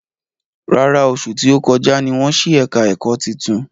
Rárá, oṣù tí ó kọjá ní wọ́n ṣí ẹ̀ka ẹ̀kọ́ titun